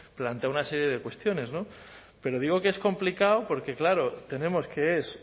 plantea una serie de cuestiones pero digo que es complicado porque claro tenemos que es